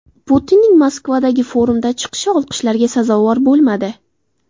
Putinning Moskvadagi forumda chiqishi olqishlarga sazovor bo‘lmadi.